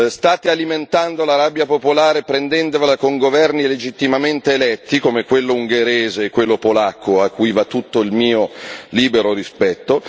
state alimentando la rabbia popolare prendendovela con governi legittimamente eletti, come quello ungherese e quello polacco, a cui va tutto il mio libero rispetto